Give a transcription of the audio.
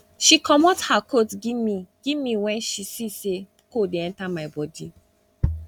she comot her coat give me give me wen she see sey cold dey enta my bodi